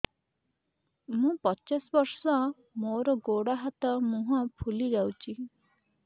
ମୁ ପଚାଶ ବର୍ଷ ମୋର ଗୋଡ ହାତ ମୁହଁ ଫୁଲି ଯାଉଛି